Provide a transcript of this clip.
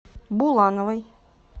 булановой